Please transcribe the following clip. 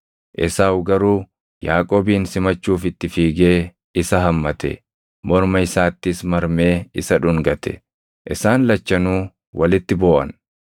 Esaawu garuu Yaaqoobin simachuuf itti fiigee isa hammate; morma isaattis marmee isa dhungate. Isaan lachanuu walitti booʼan.